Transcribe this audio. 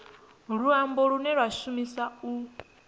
luambo lune lwa shumiswa u